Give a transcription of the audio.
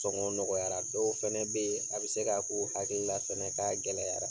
Sɔngɔ nɔgɔyara. Dɔw fɛnɛ be ye, a be se k'a k'u hakili la fɛnɛ k'a gɛlɛyara.